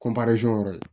yɔrɔ ye